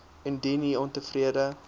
indien u ontevrede